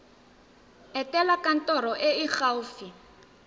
etela kantoro e e gaufi